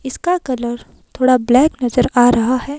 इसका कलर थोड़ा ब्लैक नजर आ रहा है।